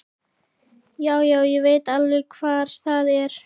Já, já, ég veit alveg hvar það er.